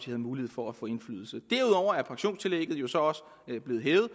havde mulighed for at få indflydelse derudover er pensionstillægget jo så også blevet hævet